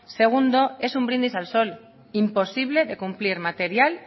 segundo es un brindis al sol imposible de cumplir material